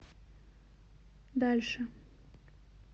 дальше